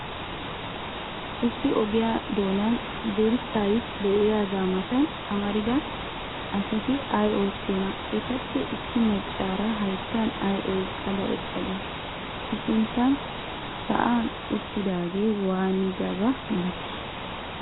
Issi ogiyaa doonan dirssay de'iyaagaa matan amarida asati ay oottiyoonaa? Etappe issi maccaara hayttan ay oyqqada eqqadee? I sinttan sa'an uttidaagee waanidabaa malatii?